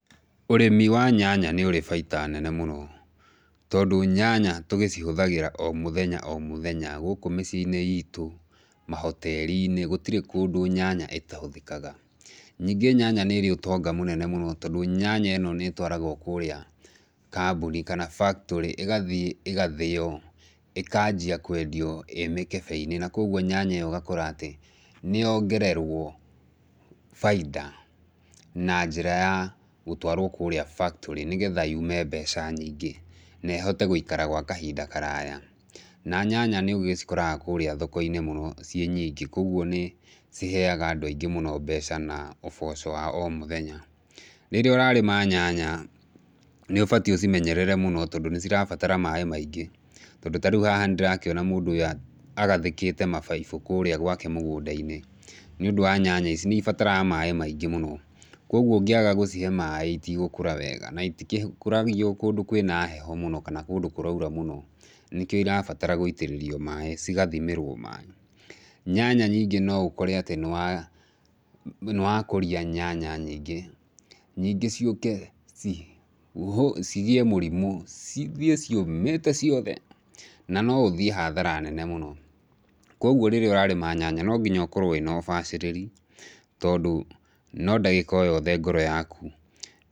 Ũrĩmi wa nyanya nĩũrĩ baita nene mũno, tondũ nyanya tũgĩcihũthagĩra o mũthenya o mũthenya, gũkũ mĩciĩinĩ itũ, mahoterinĩ, gũtirĩ kũndũ nyanya ĩtahũthĩkaga. Ningĩ nyanya nĩrĩ ũtonga mũnene mũno, tondũ nyanya ĩno nĩtwaragwo kũrĩa kambũni kana factory ĩgathiĩ ĩgathĩo, ĩkanjia kwendio ĩ mĩkebeinĩ, na koguo nyanya ĩyo ũgakora atĩ nĩyongererwo baita, na njĩra ya gũtwarwo kũrĩa factory nĩgetha yume mbeca nyingĩ, na ĩhote gũikara gwa kahinda karaya. Na nyanya nĩ ũcikoraga kũrĩa thokoinĩ mũno ciĩ nyingĩ, koguo nĩ ciheaga andũ aingĩ mũno mbeca na ũboco wa o mũthenya. Rĩrĩa ũrarĩma nyanya, nĩũbatie ũcimenyerere mũno, tondũ nĩcirabatara maĩ maingĩ, tondũ tarĩu haha ndĩrakĩona mũndũ ũyũ agathĩkĩte mabaibũ kũrĩa gwake mũgũndainĩ, nĩũndũ waa nyanya icic, nĩcibataraga maĩ maingĩ mũno, koguo ũngĩaga gũcihe maĩ itigũkũra wega, na itikũragio ũndũ kwĩna heho mũno kana kũndũ kũraura mũno. Nĩkĩo irabatara gũitĩrĩrio maĩ, cigathimĩrwo maĩ. Nyanya ningĩ no ũkore atĩ nĩwa, nĩwa kũria nyanya nyingĩ, nyingĩ ciũke ci cigĩe mũrimũ, cithiĩ ciũmĩte ciothe, na no ũthiĩ hathara nene mũno. Koguo rĩrĩa ũrarima nyanya no nginya ũkorwo wĩna ũbacĩrĩri, tondũ no ndagĩka o yothe ngoro yaku.